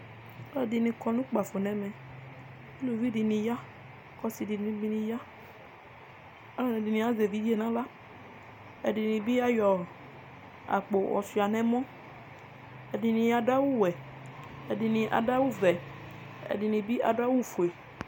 alʊɛɗɩnɩ ƙɔnʊ ʊƙpaƒoɗɩ elʊʋɩ ɗʊnʊ asɩnɩ ɗʊ ʊƙpaƒʊe alʊɛɗɩnɩazɛ eʋɩɗje nʊ ahla ɛɗɩnɩ aɗʊ awʊ ɔwɛ ɛɗɩnɩaɗʊ awʊ ɔʋɛ ɛɗɩnɩɓɩ aɗʊ awʊ oƒʊe